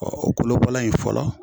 Ɔ o kolobala in fɔlɔ